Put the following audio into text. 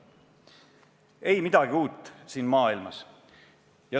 Ei midagi uut siin maailmas!